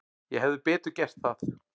Ég hefði betur gert það.